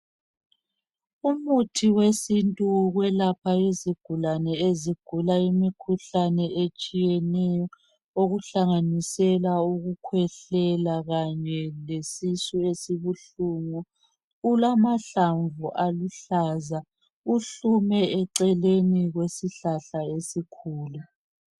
Umuthi wesintu wokwelapha izigulane ezigula imikhuhlane etshiyeneyo okuhlanganisela ukukhwehlela kanye lesisu esibuhlungu ulamahlamvu aluhlaza uhlume eceleni kwesihlahla esikhulu